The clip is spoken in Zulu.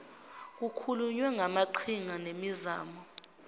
kukhulunywe ngamaqhinga nemizamo